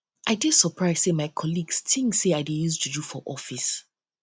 i dey surprise sey my colleagues tink sey i dey use juju use juju for office